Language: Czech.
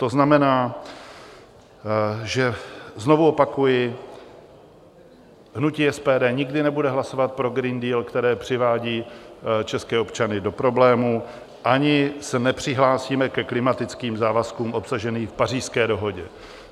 To znamená, že - znovu opakuji - hnutí SPD nikdy nebude hlasovat pro Green Deal, který přivádí české občany do problémů, ani se nepřihlásíme ke klimatickým závazkům obsaženým v Pařížské dohodě.